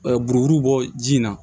buruburu bɔ ji na